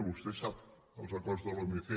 vostè sap els acords de l’omc